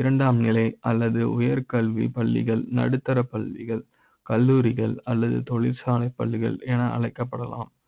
இரண்டாம் நிலை அல்லது உயர் கல்வி பள்ளிகள், நடுத்தர பள்ளிகள் கல்லூரிகள் அல்லது தொழிற்சாலை பள்ளிகள் என அழைக்கப்பட லாம்